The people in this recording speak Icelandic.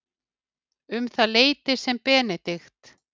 Um það leyti sem Benedikt